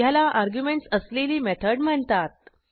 ह्याला अर्ग्युमेंटस असलेली मेथड म्हणतात